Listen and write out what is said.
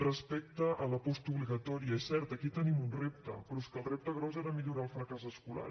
respecte a la postobligatòria és cert aquí hi tenim un repte però és que el repte gros era millorar el fracàs escolar